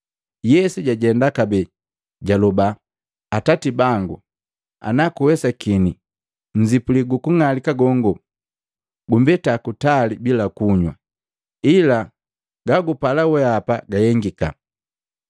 Yesu jajenda kabee, jaloba, “Atati bangu, ana kuwesakini nnzipuli gukung'alika gongo gumbeta kutali bila kunywa, ila gagupala weapa gahengika.”